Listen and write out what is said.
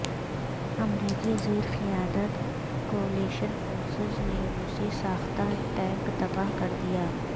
امریکی زیر قیادت کولیشن فورسز نے روسی ساختہ ٹینک تباہ کر دیا